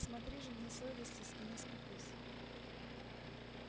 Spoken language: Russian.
смотри же не совестись и не скупись